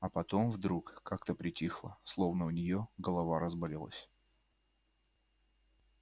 а потом вдруг как-то притихла словно у неё голова разболелась